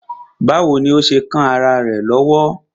Báwo ni ó ṣe kán ará rẹ̀ lọ́wọ́?